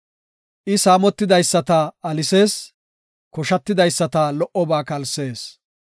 I saamotidaysata alisees; koshatidaysata lo77oba kalsees.